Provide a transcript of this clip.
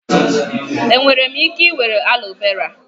Enwere m ike were aloe vera?